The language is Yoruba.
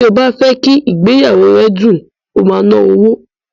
Bí ó bá fẹ́ kí ìgbéyàwó rẹ kó dùn, o máa ná owó.